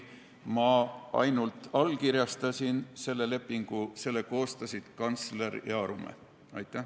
Mina ainult allkirjastasin selle lepingu, selle koostasid kantsler ja Arumäe.